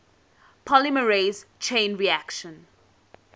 polymerase chain reaction